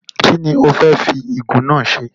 Kínni o fẹ́ fi igún náà se?